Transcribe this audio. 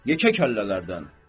Yekə kəllələrdən.